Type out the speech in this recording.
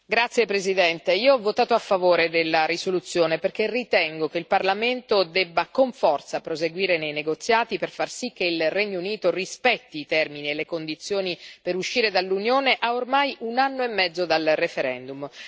Signora Presidente, onorevoli colleghi, io ho votato a favore della risoluzione perché ritengo che il Parlamento debba con forza proseguire nei negoziati, per far sì che il Regno Unito rispetti i termini e le condizioni per uscire dall'Unione, a ormai un anno e mezzo dal referendum.